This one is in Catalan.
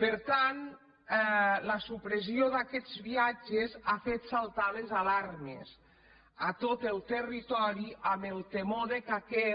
per tant la supressió d’aquests viatges ha fet saltar les alarmes a tot el territori amb el temor que